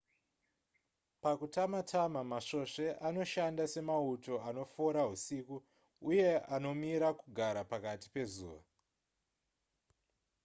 pakutama-tama masvosve anoshanda semauto anofora husiku uye anomira kugara pakati pezuva